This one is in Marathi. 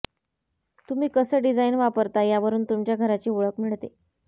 तुम्ही कसं डिझाईन वापरता यावरून तुमच्या घराची ओळख मिळते